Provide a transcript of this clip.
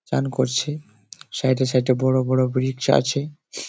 চান করছে সাইড -এ সাইড -এ বড় বড় ব্রিজ আছে ।